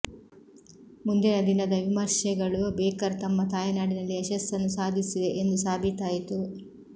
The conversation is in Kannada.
ಮುಂದಿನ ದಿನದ ವಿಮರ್ಶೆಗಳು ಬೇಕರ್ ತಮ್ಮ ತಾಯ್ನಾಡಿನಲ್ಲಿ ಯಶಸ್ಸನ್ನು ಸಾಧಿಸಿವೆ ಎಂದು ಸಾಬೀತಾಯಿತು